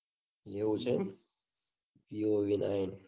એવું છે. Vivo V nine